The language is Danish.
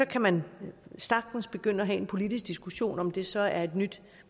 kan man sagtens begynde at have en politisk diskussion af om det så er et nyt